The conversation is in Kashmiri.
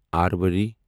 ارواری